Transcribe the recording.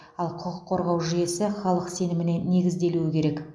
ал құқық қорғау жүйесі халық сеніміне негізделуі керек